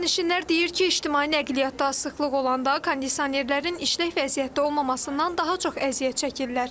Sərnişinlər deyir ki, ictimai nəqliyyatda sıxlıq olanda kondisionerlərin işlək vəziyyətdə olmamasından daha çox əziyyət çəkirlər.